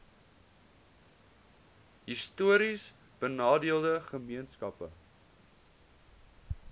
histories benadeelde gemeenskappe